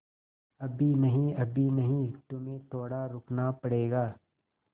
अभी नहीं अभी नहीं तुम्हें थोड़ा रुकना पड़ेगा